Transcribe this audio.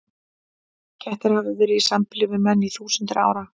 Kettir hafa verið í sambýli við menn í þúsundir ára.